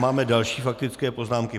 Máme další faktické poznámky.